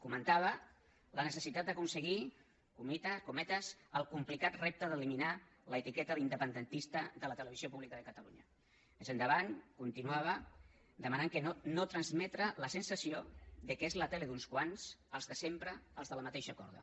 comentava la necessitat d’aconseguir cometes el complicat repte d’eliminar l’etiqueta d’independentista de la televisió pública de catalunya més endavant continuava demanant no transmetre la sensació que és la tele d’uns quants els de sempre els de la mateixa corda